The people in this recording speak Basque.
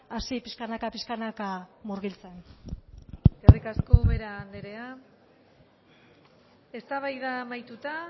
hasi pixkanaka pixkanaka murgiltzen eskerrik asko ubera andrea eztabaida amaituta